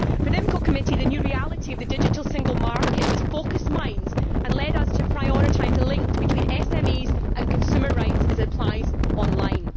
For the IMCO Committee, the new reality of the digital single market has focused minds and led us to prioritise the links between SMEs and consumer rights as it applies online.